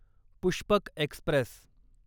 Pushpak Express